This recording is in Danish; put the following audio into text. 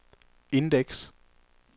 indeks